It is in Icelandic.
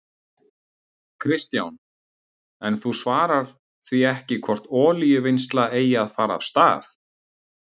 Kristján: En þú svarar því ekki hvort olíuvinnsla eigi að fara af stað?